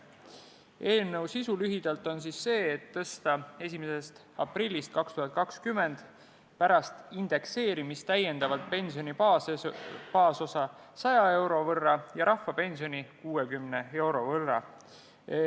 Eelnõu sisu lühidalt öeldes on see, et tõsta 1. aprillist 2020 pärast indekseerimist täiendavalt pensioni baasosa 100 euro võrra ja rahvapensioni 60 euro võrra.